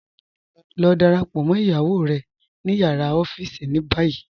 Lọ dáràpọ̀ mọ́ iyàwó rẹ̀ ní yàrá ifijíṣẹ̀ ní báyì.